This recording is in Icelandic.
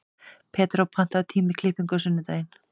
Pedró, pantaðu tíma í klippingu á sunnudaginn.